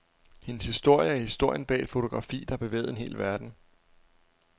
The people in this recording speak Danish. Hendes historie er historien bag et fotografi, der bevægede en hel verden.